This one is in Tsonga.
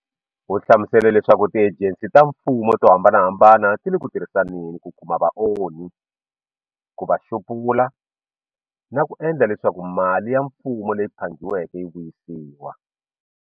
U hlamusele leswaku tiejensi ta mfumo to hambanahambana ti le ku tirhisaneni ku kuma vaonhi, ku va xupula, na ku endla leswaku mali ya Mfumo leyi phangiweke yi vuyisiwa.